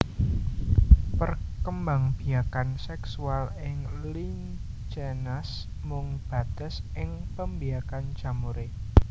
Perkembangbiakan seksual ing Lichenes mung bates ing pembiakan jamuré